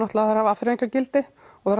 að þær hafa afþreyjingargildi og